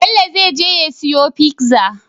Bello zai je ya siyo pizza